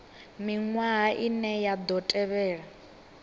miṅwaha ine ya ḓo tevhela